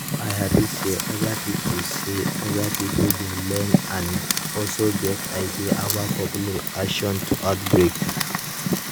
i hapi say other pipo say other pipo dey learn and also get ideas about public reaction to outbreak